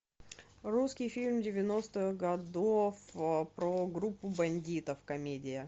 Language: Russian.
русский фильм девяностых годов про группу бандитов комедия